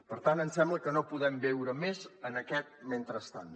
per tant em sembla que no podem viure més en aquest mentrestant